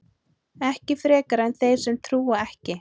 ekki frekar en þeir sem trúa ekki